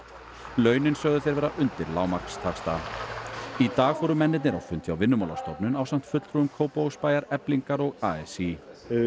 launin sögðu þeir vera undir lágmarkstaxta í dag fóru mennirnir á fund hjá Vinnumálastofnun ásamt fulltrúum Kópavogsbæjar Eflingar og a s í